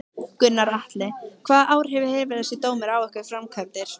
Gunnar Atli: Hvaða áhrif hefur þessi dómur á ykkar framkvæmdir?